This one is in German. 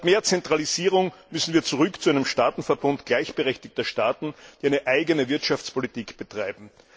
Statt mehr Zentralisierung müssen wir zurück zu einem Staatenverbund gleichberechtigter Staaten, die eine eigene Wirtschaftspolitik betreiben.